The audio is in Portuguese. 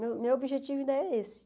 Meu meu objetivo ainda é esse.